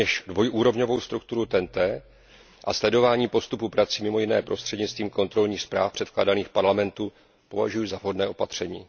Rovněž dvojúrovňovou strukturu TEN T a sledování postupu prací mimo jiné prostřednictvím kontrolních zpráv předkládaných Parlamentu považuji za vhodné opatření.